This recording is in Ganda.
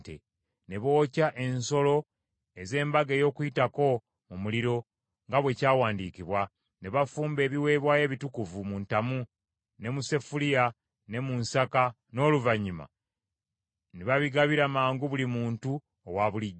Ne bookya ensolo ez’Embaga ey’Okuyitako mu muliro nga bwe kyawandiikibwa, ne bafumba ebiweebwayo ebitukuvu mu ntamu, ne mu sefuliya ne mu nsaka, n’oluvannyuma ne babigabira mangu buli muntu owabulijjo.